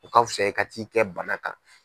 O ka fusa i ka ti'i kɛ bana kan.